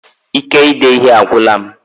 Ike ide ihe a agwụla m